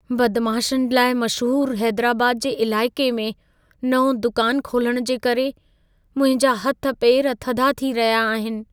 बदमाशनि लाइ मशहूरु हैदराबाद जे इलाइक़े में नओं दुकानु खोलण जे करे, मुंहिंजा हथ पेर थधा थी रहिया आहिनि।